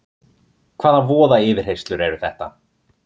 Hvaða voða yfirheyrslur eru þetta!